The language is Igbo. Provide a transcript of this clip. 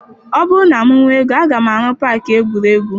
Ọ bụrụ na m nwee ego, aga m arụ paakị egwuregwu.